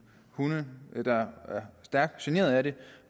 hunde der er stærkt generet af det